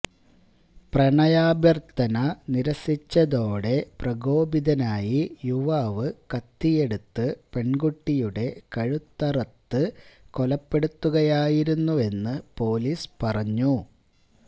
പ്രണയാഭ്യര്ത്ഥന നിരസിച്ചതോടെ പ്രകോപിതനായി യുവാവ് കത്തിയെടുത്ത് പെണ്കുട്ടിയുടെ കഴുത്തറുത്ത് കൊലപ്പെടുത്തുകയായിരുന്നുവെന്ന് പൊലീസ് പറഞ്ഞു